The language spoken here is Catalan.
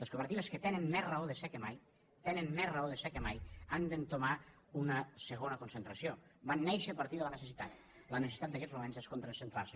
les cooperatives que tenen més raó de ser que mai tenen més raó de ser que mai han d’entomar una segona concentració van néixer a partir de la necessitat la necessitat d’aguests moments és concentrar se